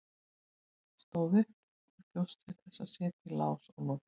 Stóð upp og bjóst til að setja í lás og loka.